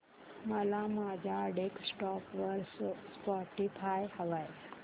मला माझ्या डेस्कटॉप वर स्पॉटीफाय हवंय